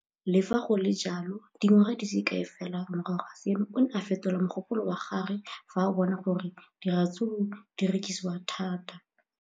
Le fa go le jalo, dingwaga di se kae fela morago ga seno, o ne a fetola mogopolo wa gagwe fa a bona gore diratsuru di rekisiwa thata.